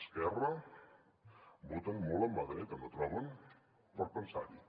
esquerra voten molt amb la dreta no troben per pensar hi